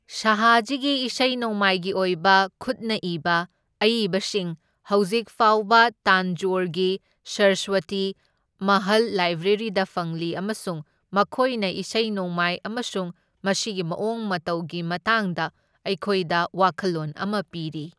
ꯁꯥꯍꯥꯖꯤꯒꯤ ꯏꯁꯩ ꯅꯣꯡꯃꯥꯏꯒꯤ ꯑꯣꯏꯕ ꯈꯨꯠꯅ ꯏꯕ ꯑꯏꯕꯁꯤꯡ ꯍꯧꯖꯤꯛ ꯐꯥꯎꯕ ꯇꯥꯟꯖꯣꯔꯒꯤ ꯁꯔꯁꯋꯇꯤ ꯃꯍꯜ ꯂꯥꯏꯕ꯭ꯔꯦꯔꯤꯗ ꯐꯪꯂꯤ ꯑꯃꯁꯨꯡ ꯃꯈꯣꯏꯅ ꯏꯁꯩ ꯅꯣꯡꯃꯥꯏ ꯑꯃꯁꯨꯡ ꯃꯁꯤꯒꯤ ꯃꯑꯣꯡ ꯃꯇꯧꯒꯤ ꯃꯇꯥꯡꯗ ꯑꯩꯈꯣꯏꯗ ꯋꯥꯈꯜꯂꯣꯟ ꯑꯃ ꯄꯤꯔꯤ꯫